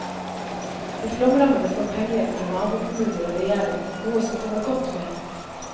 De flomrammede får pengehjelp fra nabokommuner og regjering, noe som kommer godt med.